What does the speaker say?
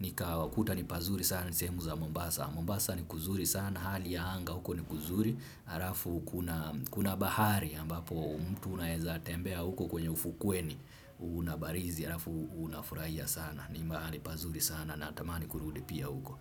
nikakuta ni pazuri sana ni sehemu za Mombasa. Mombasa ni kuzuri sana, hali ya anga huko ni kuzuri. Halafu kuna, kuna bahari ambapo mtu unaweza tembea huko kwenye ufukweni una barizi halafu unafurahia sana. Ni mahali pazuri sana natamani kurudi pia huko.